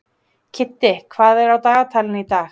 Kiddi, hvað er á dagatalinu í dag?